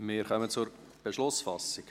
Wir kommen zur Beschlussfassung.